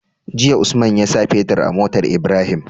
Jiya usman yasa fitir a motar Ibrahim